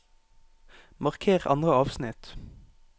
Marker andre avsnitt